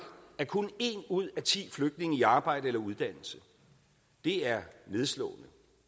er kun en ud af ti flygtninge i arbejde eller under uddannelse det er nedslående